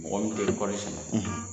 Mɔgɔ min tɛ kɔɔri sɛnɛ.